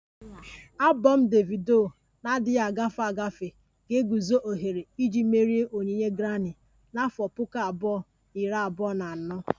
Abom Davido na-adịghị agafe agafe ga-eguzo ohere iji merie onyinye Grami na afo Puku abụọ na iri abụọ na anọ